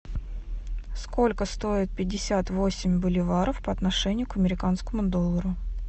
сколько стоит пятьдесят восемь боливаров по отношению к американскому доллару